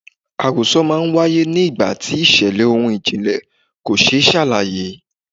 Àròsọ máa ń w'áyé ni ìgbà tí ìṣẹ̀lẹ̀ ohun ìjìnlẹ̀ kò ṣe é ṣàlàyé.